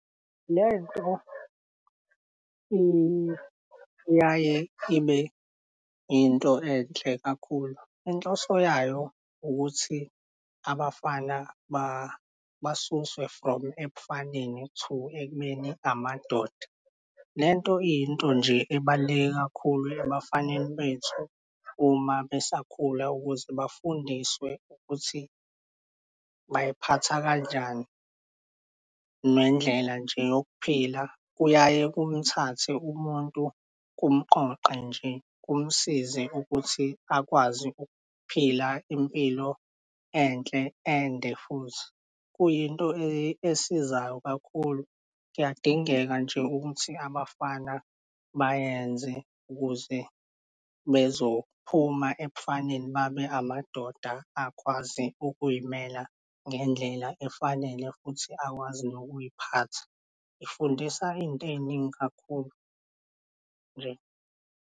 Lento iyaye ibe into enhle kakhulu. Inhloso yayo ukuthi abafana basuswe from ebufaneni to ekubeni amadoda. Lento iyinto nje ebaluleke kakhulu ebafaneni bethu uma besakhula, ukuze bafundiswe ukuthi baziphatha kanjani, nendlela nje yokuphila kuyaye kumthathe umuntu, kumqoqe nje, kumsize ukuthi akwazi ukuphila impilo enhle, ende futhi. Kuyinto esizayo kakhulu. Kuyadingeka nje ukuthi abafana bayenze ukuze bezophuma ebufaneni babe amadoda akwazi ukuzimela ngendlela efanele futhi akwazi nokuziphatha ifundisa izinto eziningi kakhulu nje.